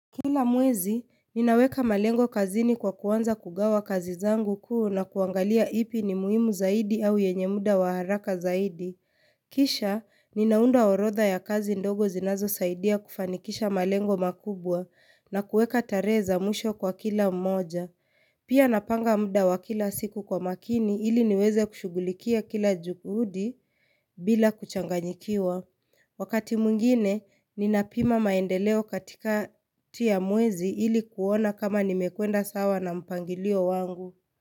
Kila mwezi, ninaweka malengo kazini kwa kuanza kugawa kazi zangu kuu na kuangalia ipi ni muhimu zaidi au yenye muda wa haraka zaidi. Kisha, ninaunda orotha ya kazi ndogo zinazo saidia kufanikisha malengo makubwa na kueka tarehe za mwisho kwa kila mmoja. Pia napanga muda wa kila siku kwa makini ili niweze kushugulikia kila juhudi bila kuchanganyikiwa. Wakati mwingine, ninapima maendeleo katikati ya mwezi ilikuona kama nimekuenda sawa na mpangilio wangu.